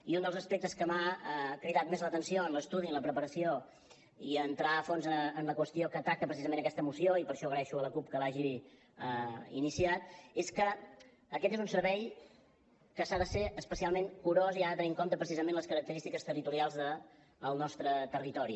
i un dels aspectes que m’ha cridat més l’atenció en l’estudi en la preparació i en entrar a fons en la qüestió que ataca precisament aquesta moció i per això agraeixo a la cup que l’hagi iniciat és que aquest és un servei que ha de ser especialment curós i ha de tenir en compte precisament les característiques territorials del nostre territori